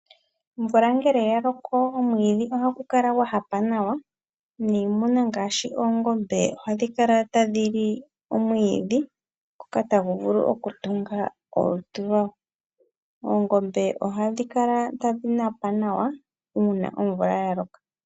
Omvula ngele ya loko omwiidhi ohagu kala gwa hapa nawa, niimuna ngaashi oongombe ohadhi kala tadhi li omwiidhi ngoka tagu vulu okutunga. Oongombe ohadhi kala tadhi napa nawa uuna omvula ya loka.